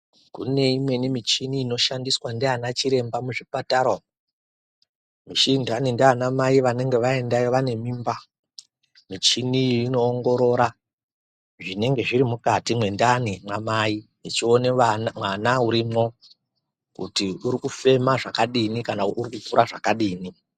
Kune imweni inoshandiswa ndiana chiremba muzvipatara michini inoshandira ana mai anenge aendayo ane mimba michini iyi inoongorora zvinenge zviri mukati mwendani mwamai ichiona mwana arimo kuti uri kufema zvakadini kana uri kukura zvakadini.